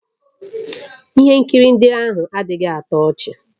Ihe nkiri ndị ahụ adịghị atọ ọchị